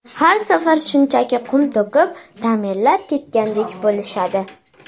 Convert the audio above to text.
Har safar shunchaki qum to‘kib, ta’mirlab ketgandek bo‘lishadi.